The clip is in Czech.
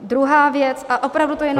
Druhá věc - a opravdu to jenom -